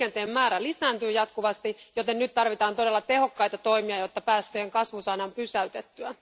Liikenteen määrä lisääntyy jatkuvasti, joten nyt tarvitaan todella tehokkaita toimia, jotta päästöjen kasvu saadaan pysäytettyä.